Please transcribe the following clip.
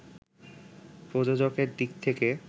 প্রযোজকের দিক থেকে